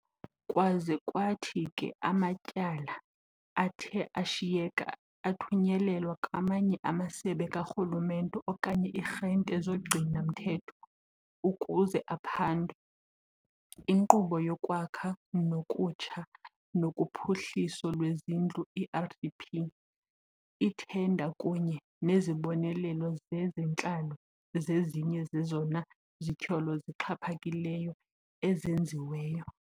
Kwaze kwathi ke amatyala athe ashiyeka athunyelelwa kwamanye amasebe karhulumente okanye ii-arhente zogcino-mthetho ukuze aphandwe. Inkqubo yoKwakha ngokutsha nokuphuhliso lwezindlu i-RDP, ithenda kunye nezibonelelo zezentlalo zezinye zezona zityholo zixhaphakileyo ezenziweyo.